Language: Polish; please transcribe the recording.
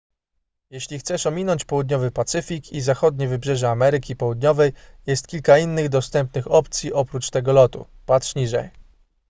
jeśli chcesz ominąć południowy pacyfik i zachodnie wybrzeże ameryki południowej jest kilka innych dostępnych opcji oprócz tego lotu patrz niżej